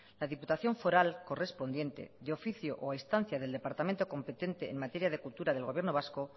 la diputación foral correspondiente de oficio o a instancia del departamento competente en materia de cultura del gobierno vasco